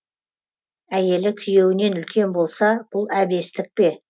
әйелі күйеуінен үлкен болса бұл әбестік пе